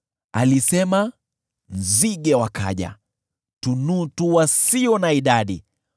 Alisema, nzige wakaja, tunutu wasio na idadi,